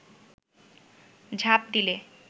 ঝাঁপ দিলে